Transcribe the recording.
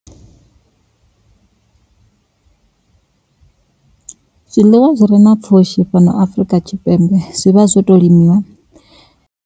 zwiḽiwa zwi re na pfhushi fhano Afrika Tshipembe zwi vha zwo to limiwa.